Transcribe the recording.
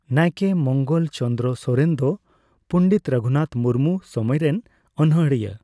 ᱱᱟᱭᱠᱮ ᱢᱚᱸᱜᱚᱞ ᱪᱚᱸᱱᱫᱨᱟ ᱥᱚᱨᱮᱱ ᱫᱚ ᱯᱩᱸᱱᱰᱮᱛ ᱨᱚᱜᱷᱩᱱᱟᱛᱷᱽ ᱢᱩᱨᱢᱩ ᱥᱚᱢᱚᱭ ᱨᱮᱱ ᱚᱱᱚᱸᱬᱦᱤᱭᱟ.